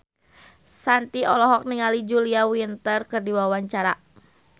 Shanti olohok ningali Julia Winter keur diwawancara